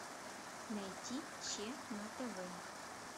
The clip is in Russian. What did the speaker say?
найти че на тв